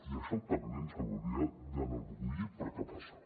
i això també ens hauria d’enorgullir perquè passa